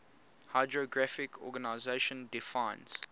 hydrographic organization defines